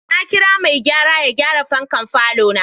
Na kirawo mai gayara ya gyara fankan falona.